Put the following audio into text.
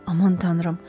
Aman tanrım!